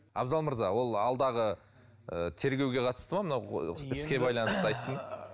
абзал мырза ол алдағы ы тергеуге қатысты ма мынау іске байланысты айтты ма